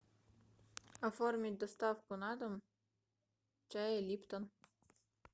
оформить доставку на дом чая липтон